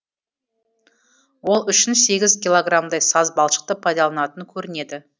ол үшін сегіз килограмдай саз балшықты пайдаланатын көрінеді